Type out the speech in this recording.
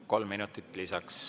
Kolm minutit lisaks.